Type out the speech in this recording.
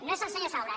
no és el senyor saura